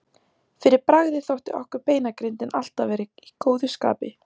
Fyrir bragðið þótti okkur beinagrindin alltaf vera í góðu skapi.